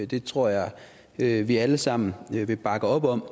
det tror jeg vi vi alle sammen vil bakke op om